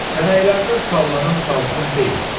Tənəklərdən sallanan salxım deyil.